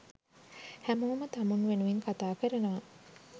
හැමෝම තමුන් වෙනුවෙන් කතාකරනවා